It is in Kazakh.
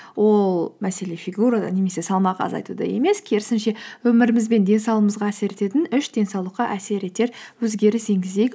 ол мәселе фигурада немесе салмақ азайтуда емес керісінше өміріміз бен денсаулығымызға әсер ететін үш денсаулыққа әсер етер өзгеріс енгізейік